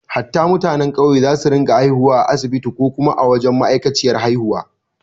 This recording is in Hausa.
Hatta mutanen ƙauye za su rinka haihuwa a asibiti ko kuma a wajen ma’aikaciyar haihuwa